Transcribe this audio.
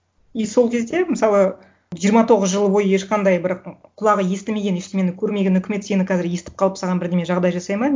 и сол кезде мысалы жиырма тоғыз жыл бойы ешқандай бір құлағы естімеген ештеңені көрмеген үкімет сені қазір естіп қалып саған бірдеме жағдай жасайды ма